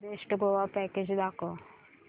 best Goa package दाखव